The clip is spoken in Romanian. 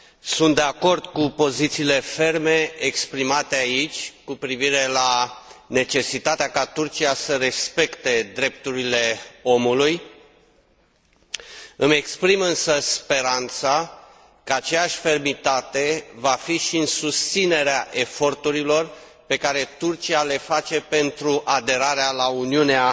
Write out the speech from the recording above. Sunt de acord cu pozițiile ferme exprimate aici cu privire la necesitatea ca Turcia să respecte drepturile omului. Îmi exprim, însă, speranța că aceeași fermitate va fi și în susținerea eforturilor pe care Turcia le face pentru aderarea la Uniunea